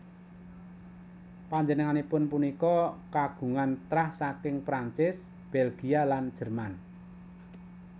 Panjenenganipun punika kagungan trah saking Prancis Bèlgia lan Jerman